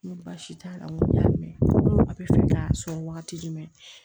N ko baasi t'a la n ko n y'a mɛn ko a bɛ fɛ k'a sɔn wagati jumɛn